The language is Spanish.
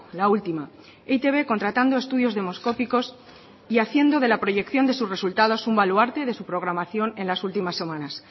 la última e i te be contratando estudios demoscópicos y haciendo de la proyección de sus resultados un baluarte de su programación en las últimas semanas